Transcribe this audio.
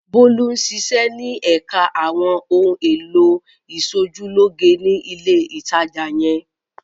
Bólú ń ṣiṣẹ́ ní ẹ̀ka àwọn ohun-èlò ìṣojúlóge ní ilé-ìtajà yẹn.